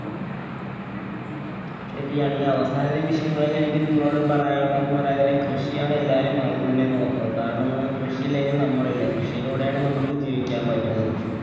ശരിയാണ്. ഈ അവസാന നിമിഷങ്ങളില്‍ എനിക്ക് നിങ്ങളോട് പറയാനുള്ളതെന്ന് പറയാന്‍ നേരം കൃഷിയാണ് എല്ലാരും ആദ്യം തന്നെ നോക്കുക. കാരണം ന്നു പറഞ്ഞാ കൃഷിയില്ലെങ്കില്‍ നമ്മളില്ല. കൃഷിയിലൂടെയാണ് നമ്മക്ക് ജീവിക്കാന്‍ പറ്റുന്നത്.